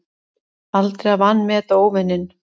Aldrei að vanmeta óvininn.